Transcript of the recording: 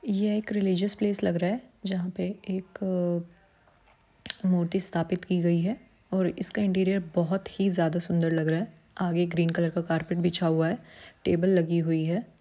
यह एक religious place लग रहा है जहां पर एक मूर्ति स्थापित की गई है और इसका इन्टिअरिअर्‌ बहोत ही ज्यादा सुंदर लग रहा है आगे ग्रीन कलर का कारपेट बिछा हुआ है टेबल लगी हुई है।